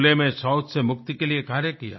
खुले में शौच से मुक्ति के लिए कार्य किया